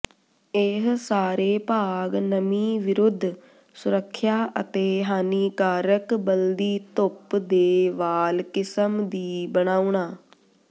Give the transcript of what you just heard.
ਇਹ ਸਾਰੇ ਭਾਗ ਨਮੀ ਵਿਰੁੱਧ ਸੁਰੱਖਿਆ ਅਤੇ ਹਾਨੀਕਾਰਕ ਬਲਦੀ ਧੁੱਪ ਦੇ ਵਾਲ ਕਿਸਮ ਦੀ ਬਣਾਉਣ